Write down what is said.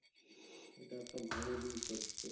এটা একটা ভালো দিক হচ্ছে